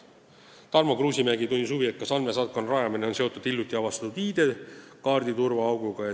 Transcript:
Tarmo Kruusimäe tundis huvi, kas andmesaatkonna rajamine on seotud hiljuti avastatud ID-kaardi turvaauguga.